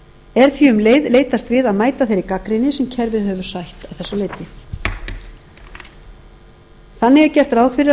er því um leið leitast við að mæta þeirri gagnrýni sem kerfið hefur sætt að þessu leyti þannig er gert ráð fyrir að